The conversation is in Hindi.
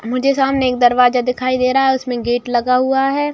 मुझे सामने एक दरवाज़ा दिखाई दे रहा है उसमे गेट लगा हुआ है |